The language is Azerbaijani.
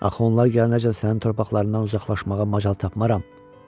Axı onlar gələnəcən sənin torpaqlarından uzaqlaşmağa macal tapmaram.